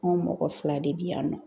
Anw mɔgɔ fila de bi yan nɔ.